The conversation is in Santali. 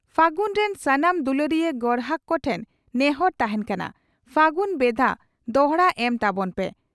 ᱯᱷᱟᱹᱜᱩᱱ ᱨᱤᱱ ᱥᱟᱱᱟᱢ ᱫᱩᱞᱟᱹᱲᱤᱭᱟᱹ ᱜᱚᱨᱦᱟᱠ ᱠᱚᱴᱷᱮᱱ ᱱᱮᱦᱚᱨ ᱛᱟᱦᱮᱸᱱ ᱠᱟᱱᱟ, ᱯᱷᱟᱹᱜᱩᱱ ᱵᱷᱮᱫᱟ ᱫᱚᱦᱲᱟ ᱮᱢ ᱛᱟᱵᱚᱱ ᱯᱮ ᱾